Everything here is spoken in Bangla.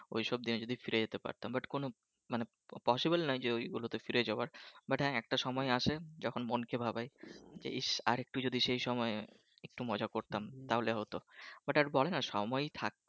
ওইসব দিনে যদি ফিরে যেতে পারতাম but কোন মানে possible নয় ওই গুলোতে ফিরে যাওয়ার but একটা সময় আসে যখন মনকে ভাবায় ইস আরেকটু যদি সেই সময় একটু মজা করতাম তাহলে হতো but আর বলে না সময় থাকে